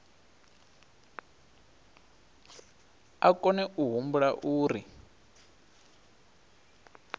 a kone a humbula uri